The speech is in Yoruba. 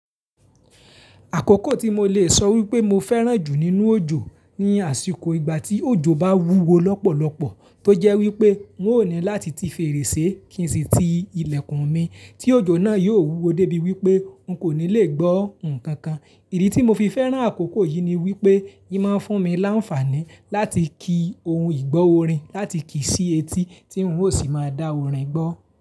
Àkókò tí mo le sọ wípé mo fẹ́ràn jù nínú òjò ni àsìkò ìgbà tí òjò bá wúwo lọ́pọ̀lọ́pọ̀ tó jẹ́ wípé n ó ni láti ti fèrèsé kí n sì ti ilẹ̀kùn mi tí òjò náà yóò wúwo dé bí wípé n kò ní le gbó nǹkan kan. Ìdí tí mo fi fẹ́ràn àkókò yìí ni wípé yìí máa ń fún mi láǹfààní láti ki ohun ìgbọ́ orin láti kì í sí etí tí n ó sì máa dá orin gbọ́